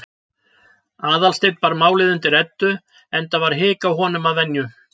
Aðalsteinn bar málið undir Eddu, enda var hik á honum að venju.